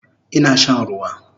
Ina shan ruwa